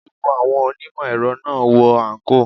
Gbogbo àwọn onímò èrọ náà ń wọ àǹkóò.